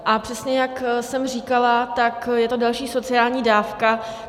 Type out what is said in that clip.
A přesně jak jsem říkala, tak je to další sociální dávka.